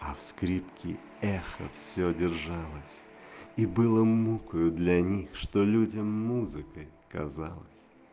а в скрепки эхо всё держалось и было мукою для них что людям музыкой казалось